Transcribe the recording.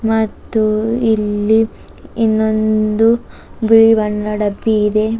ಮತ್ತು ಇಲ್ಲಿ ಇನ್ನೊಂದು ಬಿಳಿ ಬಿಳಿ ಬಣ್ಣದ ಇದೆ.